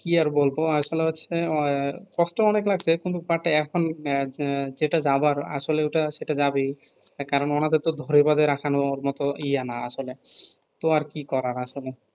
কি আর বলব আর আসলে হচ্ছে অহে কষ্ট অনেক লাগছে কিন্তু পাট এখন এহ যেটা যাবার আসলে ওটা সেটা যাবেই কারণ ওনাদের ধরে বাধে রাখান মত ইয়া না আসলে কি আর করার আসলে